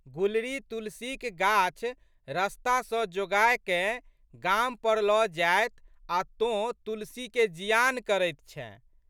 गुलरी तुलसीक गाछ रस्ता सँ जोगाकए गामपर लऽ जाएत आ तोँ तुलसीके जियान करैत छेँ।